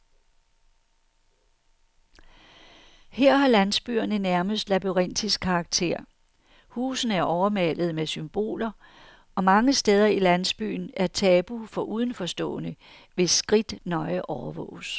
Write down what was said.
Her har landsbyerne nærmest labyrintisk karakter, husene er overmalede med symboler, og mange steder i landsbyen er tabu for udenforstående, hvis skridt nøje overvåges.